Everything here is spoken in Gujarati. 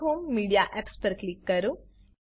ડેશ હોમ મીડિયા એપ્સ પર ક્લિક કરો